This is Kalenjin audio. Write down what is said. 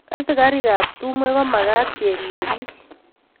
Asikatik ap timwek ko makat keripei piik